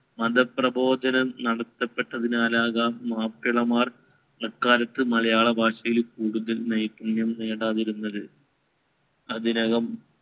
മതപ്രബോധനം നടത്തപ്പെട്ടതിനാലാകാം മാപ്പിളമാർ അക്കാലത്ത് മലയാളഭാഷയിൽ കൂടുതൽ നൈപുണ്യം നേടാതിരുന്നത്. അതിനകം